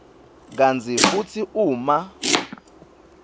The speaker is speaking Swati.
kantsi futsi uma